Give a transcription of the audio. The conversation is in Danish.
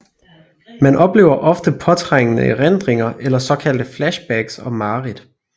Man oplever ofte påtrængende erindringer eller såkaldte flashbacks og mareridt